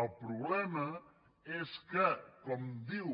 el problema és que com diu